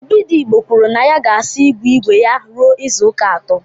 Obidigbo kwuru na ya ga-asa igwe igwe ya ruo izuụka atọ